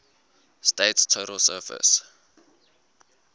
state's total surface